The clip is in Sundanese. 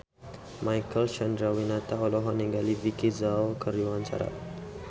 Marcel Chandrawinata olohok ningali Vicki Zao keur diwawancara